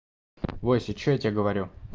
вася что я тебе говорю